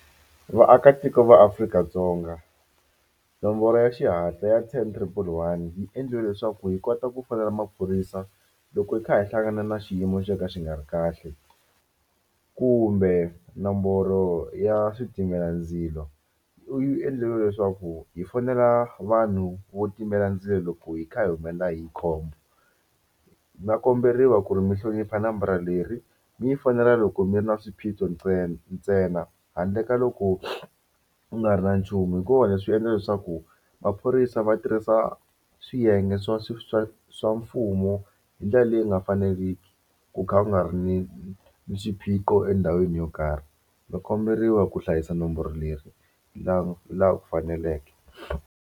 Vaakatiko va Afrika-Dzonga nomboro ya xihatla ya ten triple one yi endleliwe leswaku hi kota ku fonela maphorisa loko hi kha hi hlangana na xiyimo xo ka xi nga ri kahle kumbe nomboro ya switimelandzilo yi endleriwe leswaku hi fonela vanhu vo timela ndzilo loko hi kha hi humelela hi khombo na komberiwa ku ri mi hlonipha nambara leri mi yi fonela loko mi ri na swiphiqo ntsena handle ka loko ku nga ri na nchumu hikuva leswi endla leswaku maphorisa va tirhisa swiyenge swa swa swa swa mfumo hi ndlela leyi nga faneriki ku kha ku nga ri ni ni xiphiqo endhawini yo karhi ma komberiwa ku hlayisa nomboro leri la laha ku faneleke.